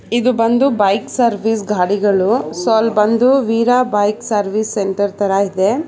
ಇದು ಬಂದು bike service ಗಾಡಿಗಳು ಸೊ ಅಲ್ ಬಂದು ವೀರ ಬೈಕ್ಸ್ ಸರ್ವಿಸ್ ಸೆಂಟರ್ ತರ ಇದೆ.